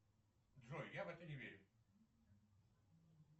джой я в это не верю